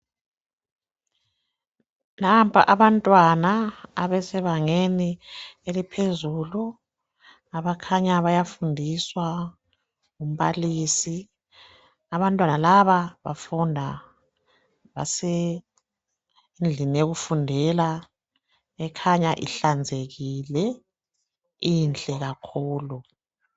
Nampa abantwana abasebangeni eliphezulu abakhanya bayafundiswa ngu mbalisi abantwana laba bafunda basendlini yokufundela ekhanya ihlanzekile inhle kakhulu